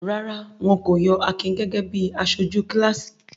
Rárá, wọn kò yọ Akin gẹ́gẹ́ bí aṣojú kíláàsì.